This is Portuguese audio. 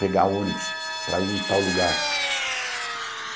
Pegar ônibus para ir em tal lugar.